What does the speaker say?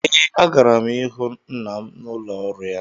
Ee, agara m ịhụ nna m n’ụlọ ọrụ ya